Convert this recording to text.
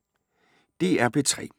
DR P3